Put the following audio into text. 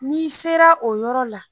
N'i sera o yɔrɔ la